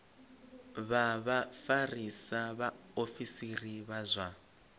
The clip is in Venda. vha vhafarisa vhaofisiri vha zwa